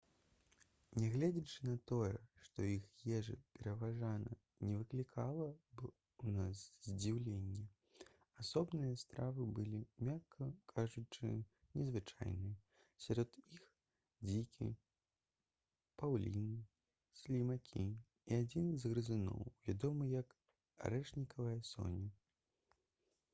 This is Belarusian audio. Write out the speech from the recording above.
нягледзячы на тое што іх ежа пераважна не выклікала б у нас здзіўлення асобныя стравы былі мякка кажучы незвычайныя сярод іх дзікі паўліны слімакі і адзін з грызуноў вядомы як арэшнікавая соня